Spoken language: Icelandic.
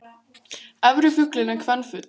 Efri fuglinn er kvenfugl.